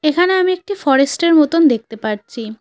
এখানে আমি একটি ফরেস্ট -এর মতন দেখতে পারছি।